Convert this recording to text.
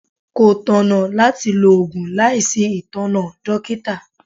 Kò tọ̀nà láti lo Ògùn láìsí itona dókítà.